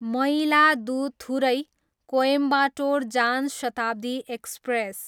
Mayiladuthurai, Coimbatore Jan Shatabdi express